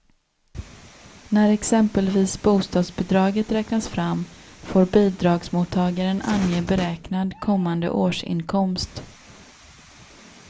När exempelvis bostadsbidraget räknas fram får bidragsmottagaren ange beräknad kommande årsinkomst.